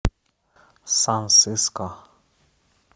сан сиско